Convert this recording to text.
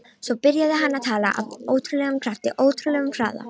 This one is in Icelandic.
Svo byrjaði hann að tala, af ótrúlegum krafti, ótrúlegum hraða.